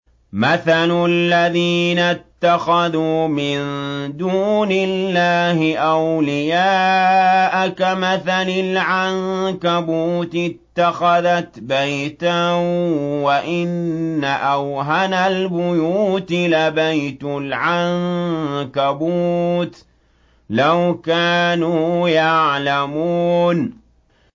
مَثَلُ الَّذِينَ اتَّخَذُوا مِن دُونِ اللَّهِ أَوْلِيَاءَ كَمَثَلِ الْعَنكَبُوتِ اتَّخَذَتْ بَيْتًا ۖ وَإِنَّ أَوْهَنَ الْبُيُوتِ لَبَيْتُ الْعَنكَبُوتِ ۖ لَوْ كَانُوا يَعْلَمُونَ